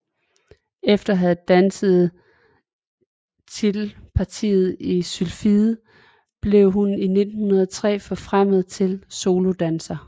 Efter at have danset titelpartiet i Sylfiden blev hun i 1903 forfremmet til solodanser